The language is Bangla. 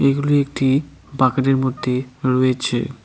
এগুলি একটি বাকেট -এর মধ্যে রয়েছে।